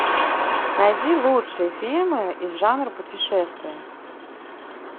найди лучшие фильмы из жанра путешествия